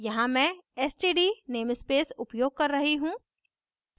यहाँ मैं std namespace उपयोग कर रही हूँ